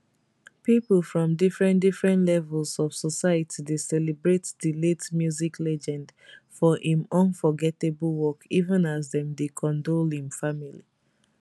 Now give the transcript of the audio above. pipo from different different levels of society dey celebrate di late music legend for im unforgettable work even as dem dey condole im family